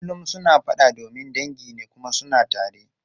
Kullum suna fada domin dangi ne kuma suna tare.